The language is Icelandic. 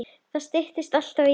Það styttir alltaf biðina.